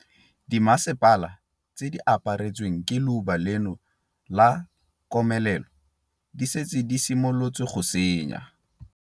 Dimasepala tse di aparetsweng ke leuba leno la komelelo di setse di simolotse go tsenya.